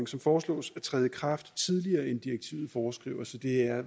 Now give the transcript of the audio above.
som foreslås at træde i kraft tidligere end direktivet foreskriver så det er